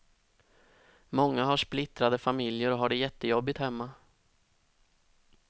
Många har splittrade familjer och har det jättejobbigt hemma.